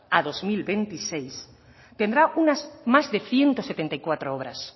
a dos mil veintiséis tendrá unas más de ciento setenta y cuatro obras